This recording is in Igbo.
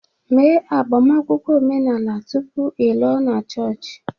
Mee agbamakwụkwọ omenala tupu ị lụọ na chọọchị